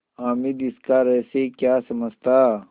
हामिद इसका रहस्य क्या समझता